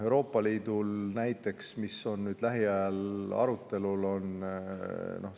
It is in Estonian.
Euroopa Liidul on näiteks seesama ravimipakett, mis on lähiajal arutelul.